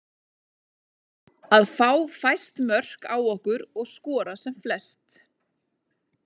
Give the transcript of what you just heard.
Að fá fæst mörk á okkur og skora sem flest.